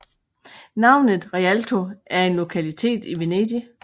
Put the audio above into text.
Navnet Rialto er en lokalitet i Venedig